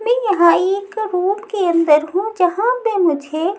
मैं यहां एक रूम के अंदर हूं जहां पे मुझे--